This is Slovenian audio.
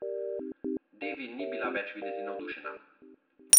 Devi ni bila več videti navdušena.